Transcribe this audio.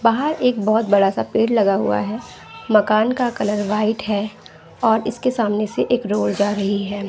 बाहर एक एक बहोत बड़ा सा पेड़ लगा हुआ है मकान का कलर वाइट हैं और इस के सामान से एक रोड जा रही है।